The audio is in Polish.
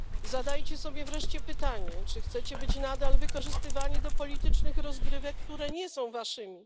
Zadajcie sobie wreszcie pytanie, czy chcecie być nadal wykorzystywani do politycznych rozgrywek, które nie są waszymi.